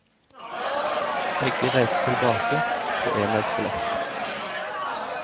Begge reiste tilbake, på enveisbillett.